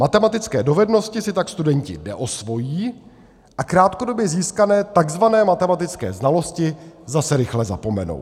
Matematické dovednosti si tak studenti neosvojí a krátkodobě získané tzv. matematické znalosti zase rychle zapomenou.